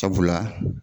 Sabula